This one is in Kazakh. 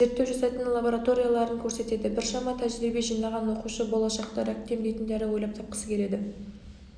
зерттеу жасайтын лабораторияларын көрсетеді біршама тәжірибе жинаған оқушы болашақта ракты емдейтін дәрі ойлап тапқысы келеді